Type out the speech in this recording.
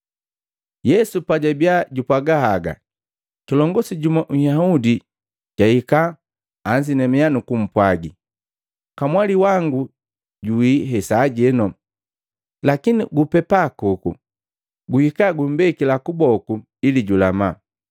Yesu pajabiya jupwaga haga, kilongosi jumu Nhyahudi jwahika, anzinamiya nukupwaga, “Kamwali wangu juwii hesajeno, lakini gupepa koku, guhika kumbeke kuboku ili julama.”